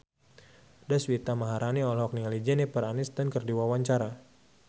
Deswita Maharani olohok ningali Jennifer Aniston keur diwawancara